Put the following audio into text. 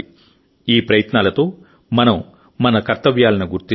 ఈ ప్రయత్నాలతో మనం మన కర్తవ్యాలను గుర్తిస్తాం